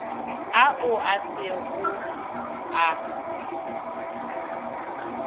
ao a se go a